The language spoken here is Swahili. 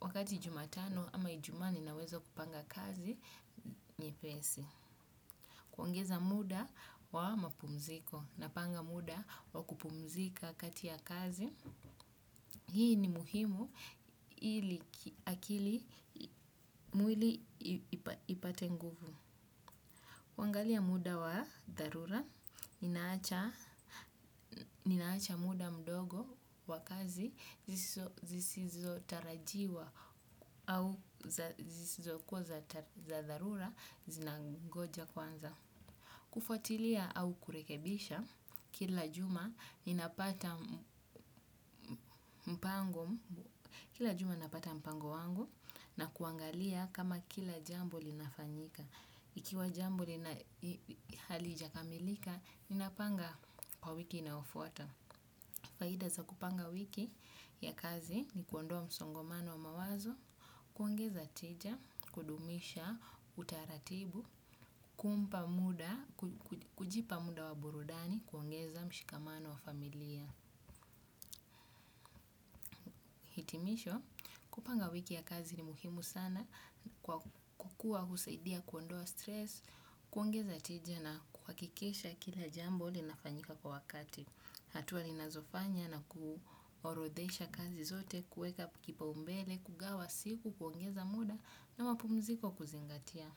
wakati jumatano ama ijumaa ninaweza kupanga kazi nyepesi. Kuongeza muda wa mapumziko napanga muda wa kupumzika kati ya kazi. Hii ni muhimu ili akili mwili ipate nguvu. Kuangalia muda wa dharura inaacha ninaacha muda mdogo wa kazi, zisizotarajiwa au zisizo kuwa za dharura, zinangoja kwanza. Kufuatilia au kurekebisha, kila juma napata mpango wangu na kuangalia kama kila jambo linafanyika. Ikiwa jambo lina halijakamilika, ninapanga kwa wiki inayofuata. Faida za kupanga wiki ya kazi ni kuondoa msongomano wa mawazo, kuongeza tija, kudumisha, utaratibu, kumpa muda, kujipa muda wa burudani, kuongeza mshikamano wa familia. Timisho, kupanga wiki ya kazi ni muhimu sana, kukua husaidia kuondoa stresi, kuongeza tija na kuhakikisha kila jambo linafanyika kwa wakati hatua ninazofanya na kuorodhesha kazi zote kueka kipaumbele, kugawa siku, kuongeza muda na mapumziko kuzingatia.